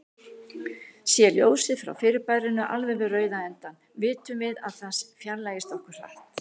Sé ljósið frá fyrirbærinu alveg við rauða endann, vitum við að það fjarlægist okkur hratt.